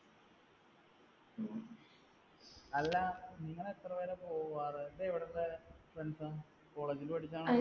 അല്ല നിങ്ങൾ എത്ര പേരാ പോവാറ്. ഇതെവിടത്തെ friends ആ college ൽ പഠിച്ചതാണോ